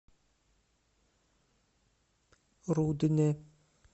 рудне